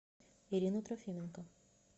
ирину трофименко